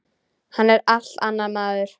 Hann er allt annar maður.